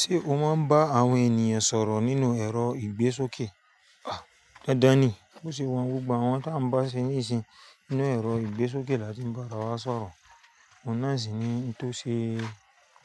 Ṣé o máa ń bá àwọn ènìyàn sọ̀rọ̀ nínú ẹ̀rọ ìgbésókè? Aa! Dandan ni, bó ṣe wọ́n gbogbo àwọn tí a ń bá ṣe níìsín nínú ẹ̀rọ ìgbésókè láti bá ra wa sọ̀rọ̀. Òun náà sì ni tó ṣe